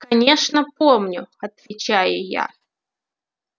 конечно помню отвечаю я